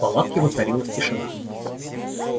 в палатке воцарилась тишина